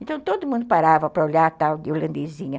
Então todo mundo parava para olhar a tal de holandesinha.